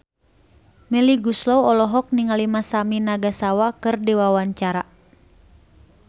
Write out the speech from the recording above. Melly Goeslaw olohok ningali Masami Nagasawa keur diwawancara